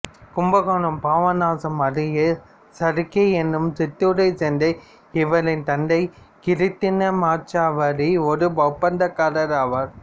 கும்பகோணம் பாபநாசம் அருகில் சருக்கை என்னும் சிற்றுரைச் சேர்ந்த இவரின் தந்தை கிருட்டிணமாச்சாரி ஓர் ஒப்பந்தக்காரர் ஆவார்